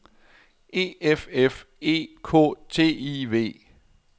E F F E K T I V